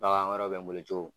Bagan wɛrɛw bɛ n bolo cogo